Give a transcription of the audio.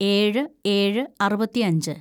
ഏഴ് ഏഴ് അറുപത്തിയഞ്ച്‌